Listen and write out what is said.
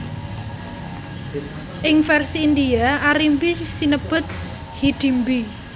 Ing vèrsi India Arimbi sinebut Hidimbi